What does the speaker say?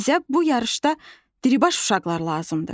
amma bizə bu yarışda diribaş uşaqlar lazımdır.